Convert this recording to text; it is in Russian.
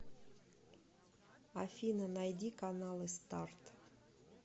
афина найди каналы старт